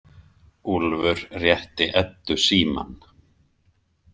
Úlfur rétti Eddu símann.